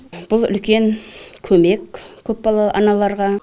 бұл үлкен көмек көпбалалы аналарға